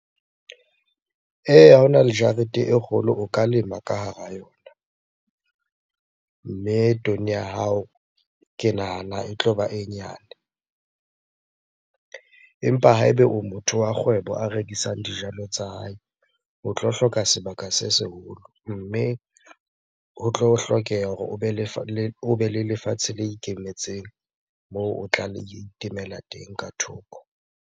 Eya, ha ona le jarete e kgolo, o ka lema ka hara yona. Mme ya hao ke nahana e tloba e nyane. Empa ha eba o motho wa kgwebo a rekisang dijalo tsa hae, o tlo hloka sebaka se seholo. Mme ho tlo hlokeha hore o be le lefatshe le ikemetseng moo o tla lo itemela teng ka thoko.